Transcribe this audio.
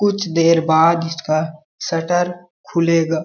कुछ देर बाद इसका शटर खुलेगा।